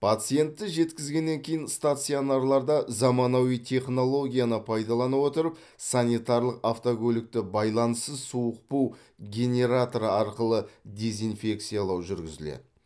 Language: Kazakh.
пациентті жеткізгеннен кейін стационарларда заманауи технологияны пайдалана отырып санитарлық автокөлікті байланыссыз суық бу генераторы арқылы дезинфекциялау жүргізіледі